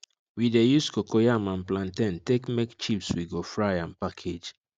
we de use cocoyam and plantain take make chips we go fry and package